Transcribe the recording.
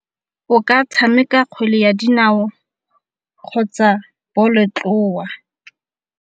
O ka tshameka kgwele ya dinao kgotsa bolotloa.